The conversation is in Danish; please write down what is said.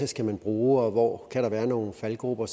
skal bruge og hvor kan være nogle faldgruber